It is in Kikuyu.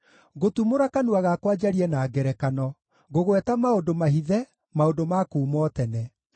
Ngũtumũra kanua gakwa njarie na ngerekano, ngũgweta maũndũ mahithe, maũndũ ma kuuma o tene: